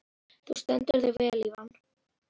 Þú stendur þig vel, Ívan!